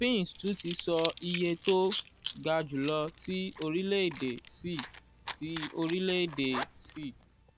fitch tun ti sọ iye to ga julọ ti orilẹ-ede si ti orilẹ-ede si b plus